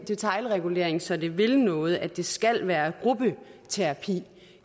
detailregulering så det vil noget at det skal være gruppeterapi